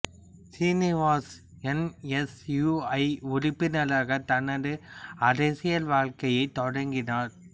Srinivas N S U I உறுப்பினராக தனது அரசியல் வாழ்க்கையைத் தொடங்கினார்